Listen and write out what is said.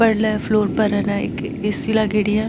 पर्ले फ्लोर पर हे ना एक ए.सी. लागेड़ी है।